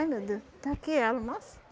Ai meu Deus, está aqui ela, nossa.